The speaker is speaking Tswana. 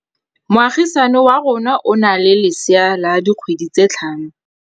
Moagisane wa rona o na le lesea la dikgwedi tse tlhano.